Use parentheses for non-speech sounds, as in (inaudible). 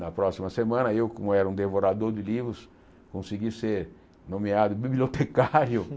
Na próxima semana, eu, como era um devorador de livros, consegui ser nomeado (laughs) bibliotecário.